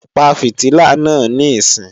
Pa fìtílà náà níìsín!